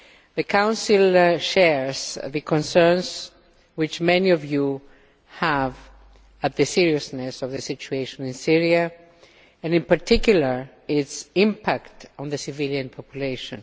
The Council shares the concerns that many of you have about the seriousness of the situation in Syria and in particular its impact on the civilian population.